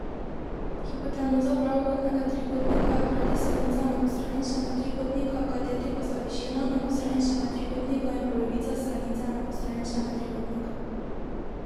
Hipotenuza pravokotnega trikotnika je hkrati stranica enakostraničnega trikotnika, kateti pa sta višina enakostraničnega trikotnika in polovica stranice enakostraničnega trikotnika.